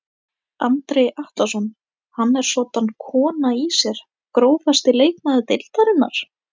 Andri Atlason hann er soddan kona í sér Grófasti leikmaður deildarinnar?